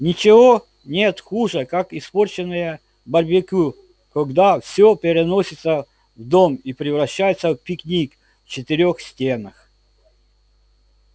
ничего нет хуже как испорченное барбекю когда всё переносится в дом и превращается в пикник в четырёх стенах